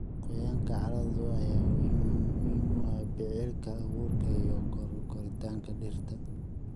Qoyaanka carrada ayaa muhiim u ah biqilka abuurka iyo koritaanka dhirta.